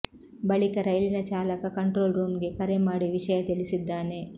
ಬಳಿಕ ರೈಲಿನ ಚಾಲಕ ಕಂಟ್ರೋಲ್ ರೂಮ್ಗೆ ಕರೆ ಮಾಡಿ ವಿಷಯ ತಿಳಿಸಿದ್ದಾನೆ